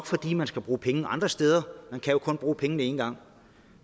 fordi man skal bruge penge andre steder man kan jo kun bruge pengene en gang